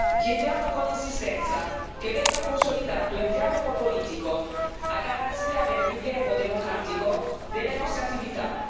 Chiediamo con insistenza che venga consolidato il dialogo politico a garanzia del rilievo democratico delle nostre attività.